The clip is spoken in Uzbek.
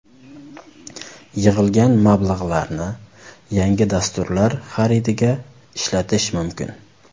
Yig‘ilgan mablag‘larni yangi dasturlar xaridiga ishlatish mumkin.